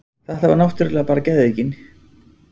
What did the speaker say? Þetta var náttúrlega bara geðveikin.